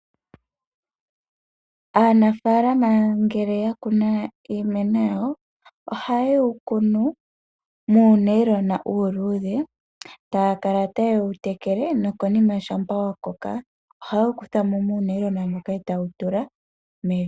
Aanafaalama ngele ya kuna iimeno yawo, ohaye wu kunu muunailona uuluudhe taa kala taye wu tekele, nokonima shampa wa koka ohaye wu kutha mo muunayilona moka e taye wu tula mevi.